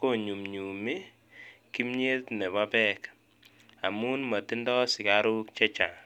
konyumnyumi kimnyet nebo beek amun motindo sikaruk chechang.